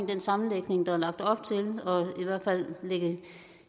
den sammenlægning der er lagt op til og